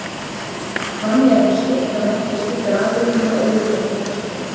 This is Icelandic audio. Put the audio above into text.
Þannig er nú skylt að merkja slíkar afurðir með óyggjandi hætti.